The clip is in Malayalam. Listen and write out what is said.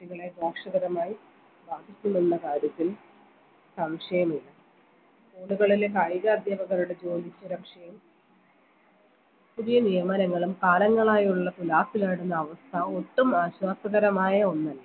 കുട്ടികളെ ദോഷകരമായി ബാധിക്കും ന്നുള്ള കാര്യത്തിൽ സംശയമില്ല school കളിലെ കായിക അധ്യാപകരുടെ ജോലി സുരക്ഷയും പുതിയ നിയമനങ്ങളും കാലങ്ങളായുള്ള തുലാസിലാണെന്ന അവസ്ഥ ഒട്ടും ആശ്വാസകരമായ ഒന്നല്ല